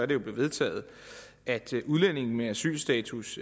det blevet vedtaget at udlændinge med asylstatus